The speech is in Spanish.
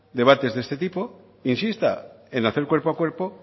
debates de este tipo insista en hacer cuerpo a cuerpo